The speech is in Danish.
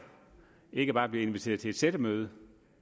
ikke bare at blive inviteret til et sættemøde